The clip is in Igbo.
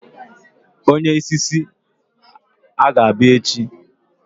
onye isi isi a ga-abia echi?